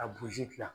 A buruzi gilan